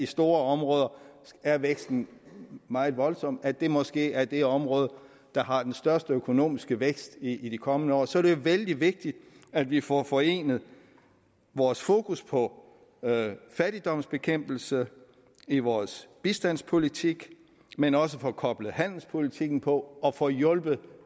store områder er væksten meget voldsom at det måske er det område der har den største økonomiske vækst i de kommende år så er det jo vældig vigtigt at vi får forenet vores fokus på fattigdomsbekæmpelse i vores bistandspolitik men også får koblet handelspolitikken på og får hjulpet